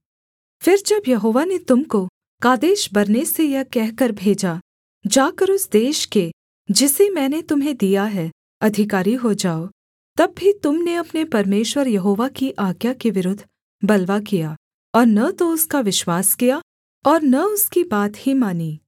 फिर जब यहोवा ने तुम को कादेशबर्ने से यह कहकर भेजा जाकर उस देश के जिसे मैंने तुम्हें दिया है अधिकारी हो जाओ तब भी तुम ने अपने परमेश्वर यहोवा की आज्ञा के विरुद्ध बलवा किया और न तो उसका विश्वास किया और न उसकी बात ही मानी